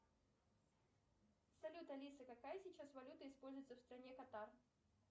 салют алиса какая сейчас валюта используется в стране катар